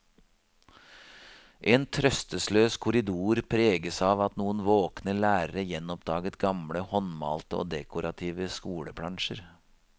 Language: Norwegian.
En trøstesløs korridor preges av at noen våkne lærere gjenoppdaget gamle, håndmalte og dekorative skoleplansjer.